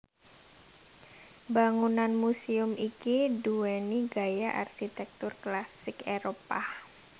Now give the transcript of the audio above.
Bangunan muséum iki nduwèni gaya Arsitektur Klasik Éropah